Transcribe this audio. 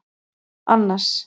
Annas